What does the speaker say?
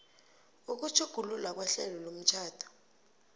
ukutjhugululwa kwehlelo lomtjhado